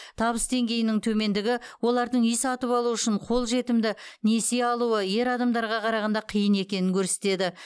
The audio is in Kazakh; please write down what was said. табыс деңгейінің төмендігі олардың үй сатып алу үшін қолжетімді несие алуы ер адамдарға қарағанда қиын екенін көрсетеді